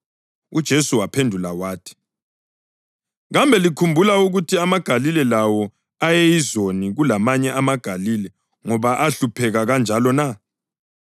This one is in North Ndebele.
UJesu waphendula wathi, “Kambe likhumbula ukuthi amaGalile lawo ayeyizoni kulamanye amaGalile ngoba ahlupheka kanjalo na?